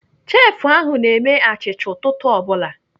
Chefụ ahụ na-eme achịcha ụtụtụ ọ bụla.